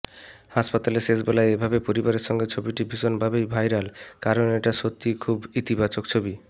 হাসপাতালে শেষবেলায় এভাবে পরিবারের সঙ্গে ছবিটি ভীষণভাবেই ভাইরাল কারণ এটা সত্যিই খুবই ইতিবাচক ছবি